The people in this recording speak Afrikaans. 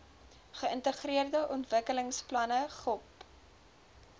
geïntegreerde ontwikkelingsplanne gop